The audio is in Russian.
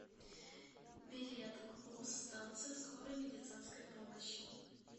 билет гбуз станция скорой медицинской помощи